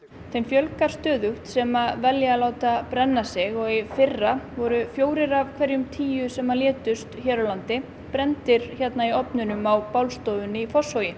þeim fjölgar stöðugt sem velja að láta brenna sig og í fyrra voru fjórir af hverjum tíu sem létust hér á landi brenndir hérna í ofnunum á bálstofunni í Fossvogi